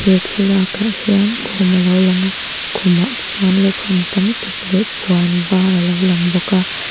he thlalak ah hian khum alo lang a khumah chuan lukham tam tak leh puan var alo lang bawk a.